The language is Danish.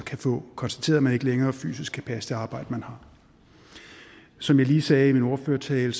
kan få konstateret at man ikke længere fysisk kan passe det arbejde man har som jeg lige sagde i min ordførertale